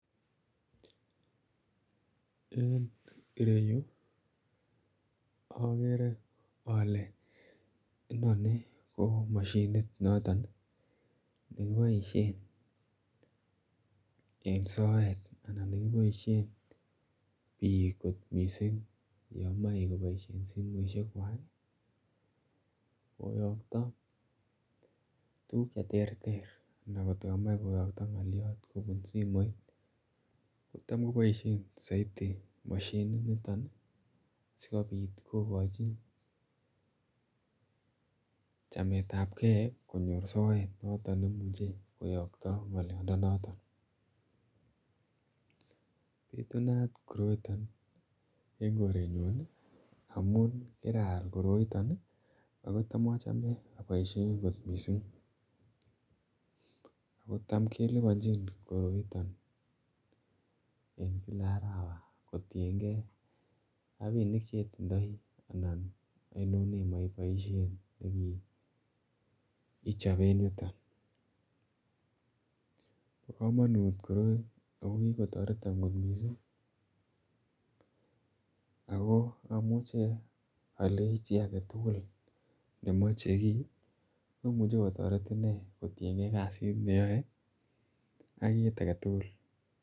En ireyu okere ole inoni ko moshinit noton nekiboisien en soet anan nekiboisien biik kot missing yan moe koboisien simoisiek kwak koyoto tuguk cheterter ana kotko komoe koyokto ng'olyot kobun simoit kotam koboisien soiti moshinit niton ih sikobit kokochi chametabgee konyor soet noton nemuche koyoto ngolyondonoto. Bitunat koroiton en koretnyun ih amun kiraal koroiton ih ako tam achome aboisien kot missing ako tam keliponjini koroiton en kila arawa kotiengei rapinik chetindoi anan oinon nemoe iboisien ichop en yuton. Bo komonut koroi amun kikotoreton kot missing ako amuche olei chi aketugul nemoche kii komuche kotoret inee en kasit neyoe ak kit aketugul